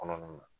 Kɔnɔna na